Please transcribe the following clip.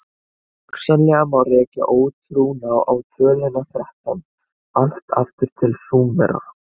hugsanlega má rekja ótrúna á töluna þrettán allt aftur til súmera